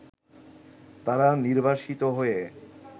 তারা নির্বাসিত হয়ে